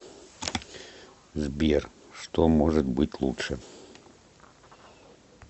сбер что может быть лучше